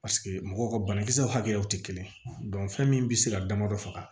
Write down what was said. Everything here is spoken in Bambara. paseke mɔgɔw ka banakisɛw hakɛyaw tɛ kelen fɛn min be se ka damadɔ faga